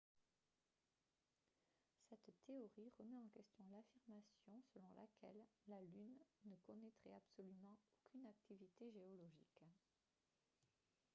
cette théorie remet en question l'affirmation selon laquelle la lune ne connaîtrait absolument aucune activité géologique